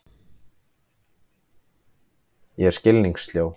Ég er skilningssljó.